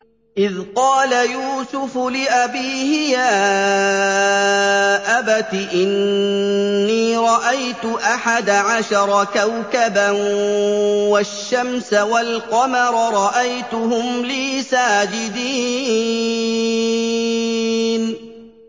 إِذْ قَالَ يُوسُفُ لِأَبِيهِ يَا أَبَتِ إِنِّي رَأَيْتُ أَحَدَ عَشَرَ كَوْكَبًا وَالشَّمْسَ وَالْقَمَرَ رَأَيْتُهُمْ لِي سَاجِدِينَ